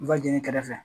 kɛrɛfɛ